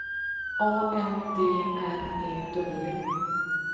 A N D R E W